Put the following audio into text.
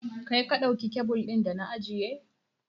Kai ka ɗauki kyabil ɗin da na ajiye?